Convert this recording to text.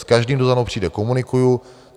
S každým, kdo za mnou přijde, komunikuji.